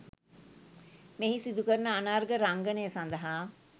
මෙහි සිදු කරන අනර්ඝ රංගනය සඳහා